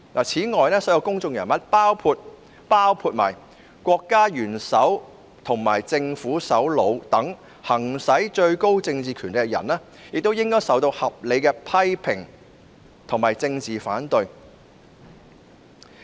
此外，所有公眾人物，包括國家元首及政府首長等行使最高政治權力的人也應受到合理的批評及政治反對。